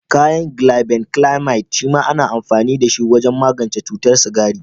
Ƙwayan Glibenclamide shema ana amfani da shi wajen magance cutar sigari.